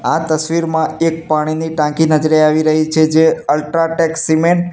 આ તસવીરમાં એક પાણીની ટાંકી નજરે આવી રહી છે જે અલ્ટ્રાટેક સિમેન્ટ --